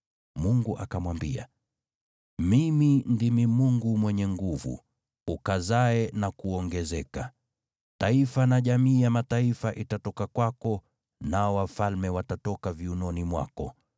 Mungu akamwambia, “Mimi ndimi Mungu Mwenyezi, ukazae na kuongezeka. Taifa na jamii ya mataifa itatoka kwako, nao wafalme watatoka viunoni mwako.